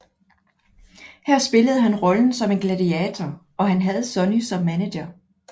Her spillede han rollen som en gladiator og havde Sunny som manager